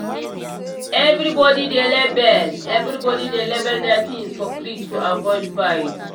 everybody dey label everybody dey label their things for fridge to avoid fight.